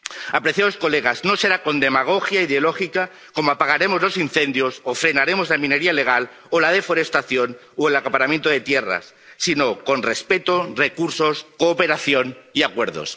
Apreciadas señorías, no será con demagogia ideológica como apagaremos los incendios o frenaremos la minería ilegal, o la deforestación, o el acaparamiento de tierras, sino con respeto, recursos, cooperación y acuerdos.